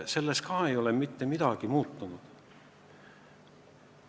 Ikka ei ole mitte midagi muutunud.